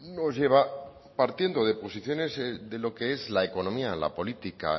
nos lleva partiendo de posiciones de lo que es la economía la política